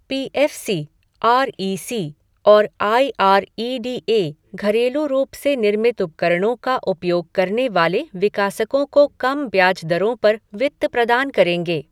P F C, R E C और I R E D A घरेलू रूप से निर्मित उपकरणों का उपयोग करने वाले विकासकों को कम ब्याज दरों पर वित्त प्रदान करेंगे